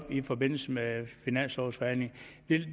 i forbindelse med finanslovsforhandlingen